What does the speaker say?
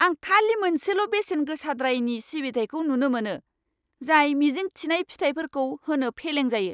आं खालि मोनसेल' बेसेन गोसाद्रायनि सिबिथाइखौ नुनो मोनो, जाय मिजिं थिनाय फिथाइफोरखौ होनो फेलें जायो।